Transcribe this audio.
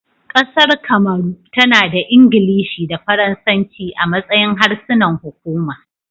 Kasar Kamaru, tana da Ingilishi da Faransanci a matsayin harsunan hukuma